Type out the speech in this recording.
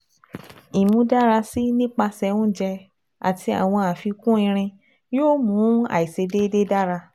Imudarasi nipasẹ ounjẹ ati awọn afikun irin yoo mu aiṣedede dara